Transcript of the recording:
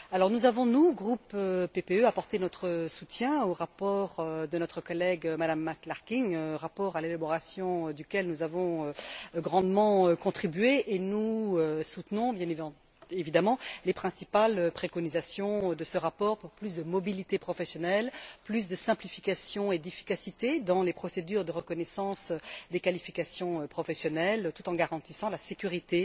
Nous avons, au groupe PPE, apporté notre soutien au rapport de notre collègue, Mme McClarkin, rapport à l'élaboration duquel nous avons grandement contribué et nous soutenons, bien évidemment, les principales préconisations de ce rapport pour plus de mobilité professionnelle, plus de simplification et d'efficacité dans les procédures de reconnaissance des qualifications professionnelles tout en garantissant la sécurité